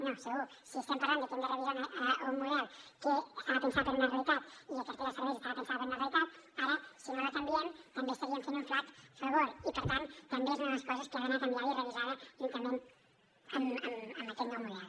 no segur si estem parlant de que hem de revisar un model que estava pensat per a una realitat i la cartera de serveis estava pensada per a una realitat ara si no la canviem també estaríem fent un flac favor i per tant també és una de les coses que ha d’anar canviada i revisada juntament amb aquest nou model